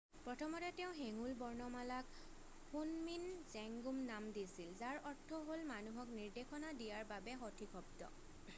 "প্ৰথমতে তেওঁ হেঙুল বৰ্ণমালাক শুনমিন জেংগুম নাম দিছিল যাৰ অৰ্থ হ'ল "মানুহক নিৰ্দেশনা দিয়াৰ বাবে সঠিক শব্দ""।""